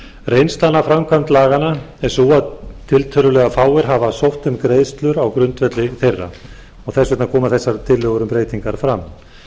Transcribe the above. reynslan af framkvæmd laganna er sú að tiltölulega fáir foreldrar hafa sótt um greiðslur á grundvelli þeirra þess vegna koma þessar tillögur um breytingar fram